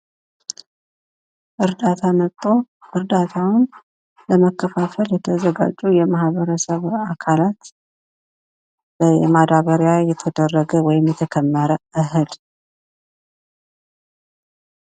እርዳታ ለማከፋፈል ወይም ለመከፋፈል የተሰባሰቡ ማህበረሰቦችን የሚያሳይ ሲሆን እርዳታውም እተከመረ የማዳበሪያ ወይም የ እህል እርዳታ ነው።